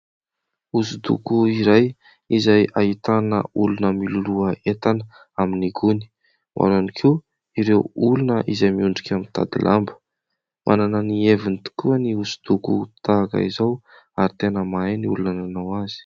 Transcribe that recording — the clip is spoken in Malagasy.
Osodoko iray izay ahitana olona miloloha entana amin'ny gony. Ao ihany koa ireo olona izay miondrika mitady lamba. Manana ny heviny tokoa ny osodoko tahaka izao ary tena mahay ny olona nanao azy.